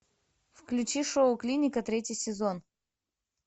включи шоу клиника третий сезон